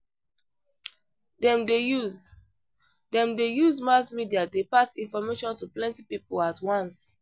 Dem dey use Dem dey use mass media dey pass information to plenty people at once.